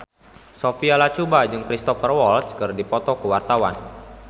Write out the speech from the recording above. Sophia Latjuba jeung Cristhoper Waltz keur dipoto ku wartawan